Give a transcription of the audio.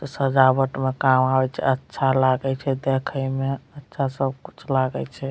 इ सजावट में काम आवे छै अच्छा लागए छै देखे में अच्छा सब कुछ लागे छै।